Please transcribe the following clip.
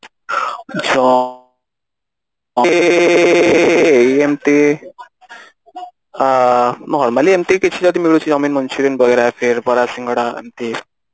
junk food ରେ ଏଇ ଏମିତି normally ଏମିତି କିଛି ଯଦି ମିଳୁଛି Chowmein Manchurian ବଗେରା ବରା ଶିଙ୍ଗଡା ଏମିତି